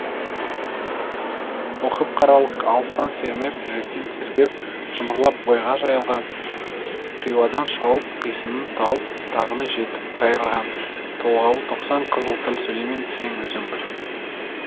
оқып қаралық алыстан сермеп жүректен тербеп шымырлап бойға жайылған қиуадан шауып қисынын тауып тағыны жетіп қайырған толғауы тоқсан қызыл тіл сөйлеймін десең өзің біл